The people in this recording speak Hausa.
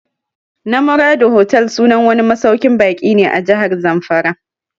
Namorado Hotel sunan wani masauƙin baƙin ne a Jahar Zamfara